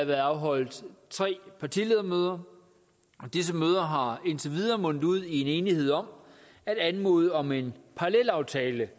været afholdt tre partiledermøder og disse møder har indtil videre mundet ud i en enighed om at anmode om en parallelaftale